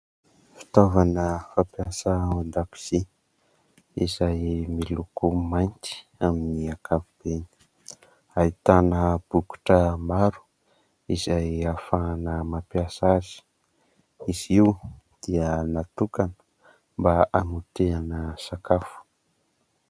Fitaovana fampiasa ao an-dakozia izay miloko mainty amin'ny ankapobeny. Ahitana bokotra maro izay ahafahana mampiasa azy. Izy io dia natokana mba hamotehana sakafo.